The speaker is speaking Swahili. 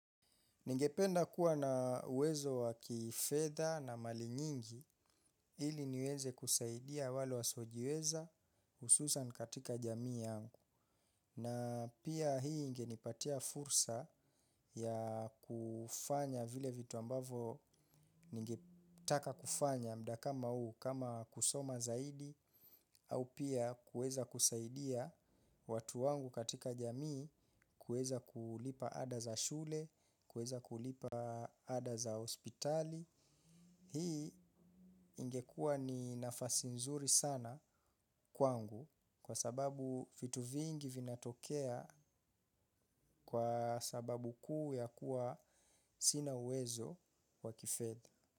Ningependa kuwa nau wezo waki fedha na mali nyingi ili niweze kusaidia wale wa siojiweza hususani katika jamii yangu. Na pia hii inge nipatia fursa ya kufanya vile vitu ambavyo ninge taka kufanya mda kama huu kama kusoma zaidi au pia kuweza kusaidia watu wangu katika jamii kuweza kulipa ada za shule, kuweza kulipa ada za hospitali. Hii ingekua ni nafasi nzuri sana kwangu kwa sababu vitu vingi vinatokea kwa sababu kuu ya kuwa sina uwezo kwa kifedha.